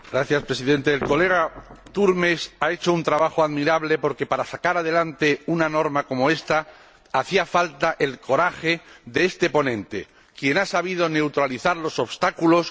Señor Presidente, el colega Turmes ha hecho un trabajo admirable porque, para sacar adelante una norma como esta, hacía falta el coraje de este ponente, quien ha sabido neutralizar los obstáculos